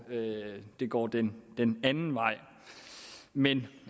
det går den den anden vej men